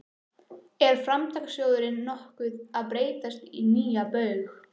Er Framtakssjóðurinn nokkuð að breytast í nýja Baug?